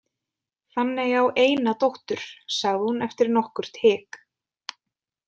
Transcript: Fanney á eina dóttur, sagði hún eftir nokkurt hik.